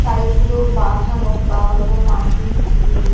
side গুলো বাঁধানো বা হয়তো মাটির ঢিবি দিয়ে --